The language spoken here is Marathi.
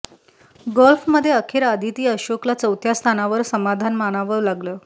गोल्फमध्ये अखेर आदिती अशोकला चौथ्या स्थानावर समाधान मानावं लागलं